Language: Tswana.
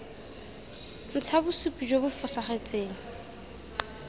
ntsha bosupi jo bo fosagetseng